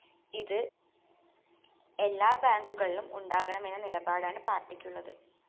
ഇത് എല്ലാ ബാങ്കുകളിലും ഉണ്ടാകണമെന്ന നിലപാടാണ് പാര്‍ട്ടിക്കുള്ളത്